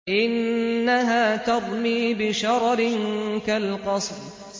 إِنَّهَا تَرْمِي بِشَرَرٍ كَالْقَصْرِ